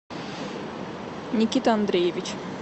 никита андреевич